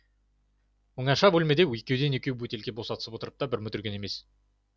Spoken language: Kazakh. оңаша бөлмеде екеуден екеу бөтелке босатысып отырып та бір мүдірген емес